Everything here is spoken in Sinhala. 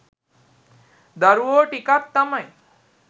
දරුවෝ ටිකක් තමයි